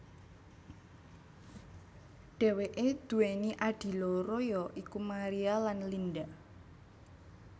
Dheweke duweni adhi loro ya iku Maria lan Linda